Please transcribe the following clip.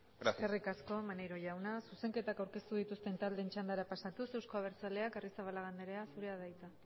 gracias eskerrik asko maneiro jauna zuzenketak aurkeztu dituzten taldeen txandara pasatuz euzko abertzaleak arrizabalaga anderea zurea da hitza